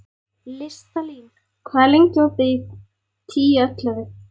Listalín, hvað er lengi opið í Tíu ellefu?